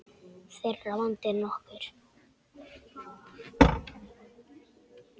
Þeirra vandi er nokkur.